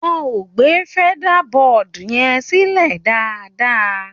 Wọ́n ò gbé feather board yẹn sílẹ̀ dáadáa.